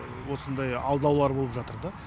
осындай алдаулар болып жатыр да